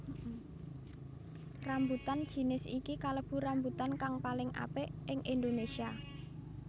Rambutan jinis iki kalebu rambutan kang paling apik ing Indonésia